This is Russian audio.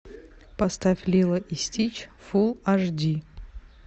поставь лило и стич фул аш ди